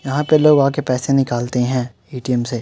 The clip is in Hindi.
यहाँ पे लोग आके पैसे निकालते है ए.टी.एम. से।